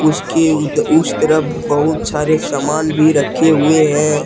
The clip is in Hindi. इसके उस तरफ बहुत सारे सामान भी रखे हुए है।